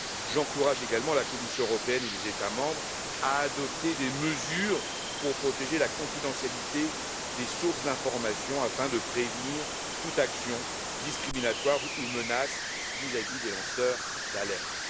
J'encourage également la Commission européenne et les États membres à adopter des mesures pour protéger la confidentialité des sources d'information afin de prévenir toute action discriminatoire ou menace vis à vis des lanceurs d'alerte.